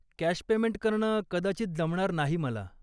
Cash payment करणं कदाचित जमणार नाही मला.